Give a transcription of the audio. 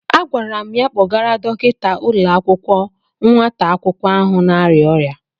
Agwara m ya kpọrọgara Dọkịta ụlọ akwụkwọ nwata akwụkwọ ahụ na-arịa ọrịa.